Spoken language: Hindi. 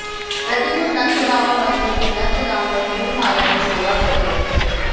प्रतिदिन नंदबाबा मंदिर के नंदगांव में फूलमाला की सेवा करते थे